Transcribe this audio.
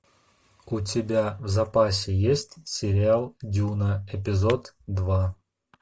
у тебя в запасе есть сериал дюна эпизод два